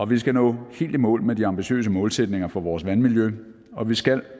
vi skal nå helt i mål med de ambitiøse målsætninger for vores vandmiljø og vi skal